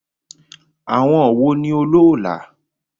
Àwọn wo ni olóólà?